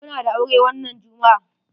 Muna da aure wannan jummu'a.